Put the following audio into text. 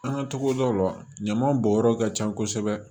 An ka togodaw la ɲaman bɔnyɔrɔ ka ca kosɛbɛ